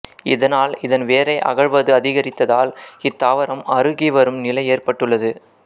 இதனால் இதன் வேரை அகழ்வது அதிகரித்ததால் இத்தாவரம் அருகிவரும் நிலை ஏற்பட்டுள்ளது